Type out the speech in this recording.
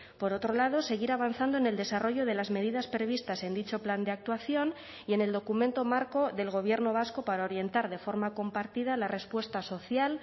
por otro lado seguir avanzando en el desarrollo de las medidas previstas en dicho plan de actuación y en el documento marco del gobierno vasco para orientar de forma compartida la respuesta social